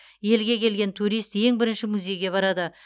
елге келген турист ең бірінші музейге барады